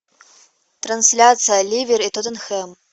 трансляция ливер и тоттенхэм